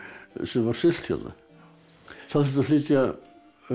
sem var siglt hérna það þurfti að flytja